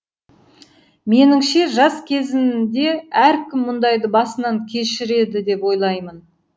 меніңше жас кезінде әркім мұндайды басынан кешіреді деп ойлаймын